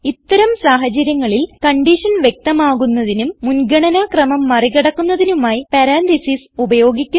ഇത്തരം സാഹചര്യങ്ങളിൽ കൺഡിഷൻ വ്യക്തമാകുന്നതിനും മുൻഗണന ക്രമം മറി കടക്കുന്നതിനുമായി പരാൻതീസിസ് ഉപയോഗിക്കുന്നു